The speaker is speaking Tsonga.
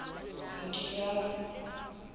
nkiyasi